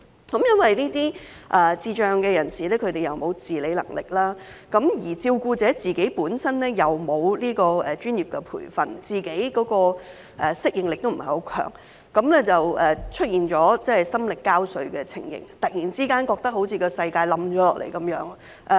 基於這些智障人士沒有自理能力，而照顧者本身又沒有接受專業培訓，而且適應力亦不強，因而感到心力交瘁，突然覺得世界好像塌下來一樣。